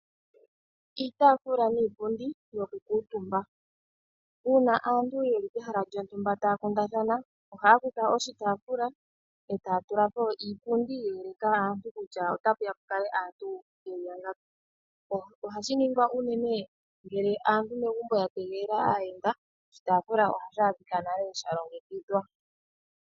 Iitaafula niipundi yokukuutumba, uuna aantu ye li pehala lyontumba taa kundathana ohaa kutha oshitaafula e taa tula po iipundi ye eleka kutya otapu ya pu kale aantu ye li yangapi. Ohashi ningwa unene ngele aantu ya tegelela aayenda. Oshitaafula ohashi adhika nale sha longekidhwa.